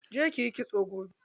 Je kiyi kitso gobe.